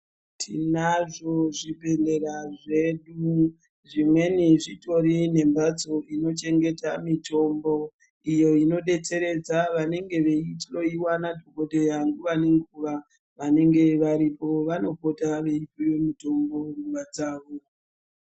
Tinazvo zvibhedhlera zvedu, zvimweni zvitori nemhatso inochengeta mitombo, iyo inodetseredza vanenge veihloiwa madhokodheya nguva nenguva. Vanenge varipo vanopota veipuwe mitombo nemadzawo.